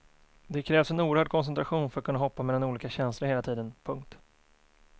Det krävs en oerhörd koncentration för att kunna hoppa mellan olika känslor hela tiden. punkt